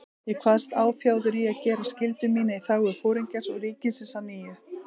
Ég kvaðst áfjáður í að gera skyldu mína í þágu Foringjans og ríkisins að nýju.